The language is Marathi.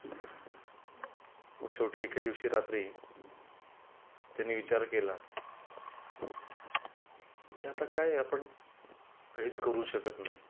शेवटी एके दिवशी रात्री त्यानी विचार केला की आता काय आपण काहीच करू शकत नाही.